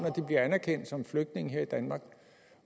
de bliver anerkendt som flygtninge her i danmark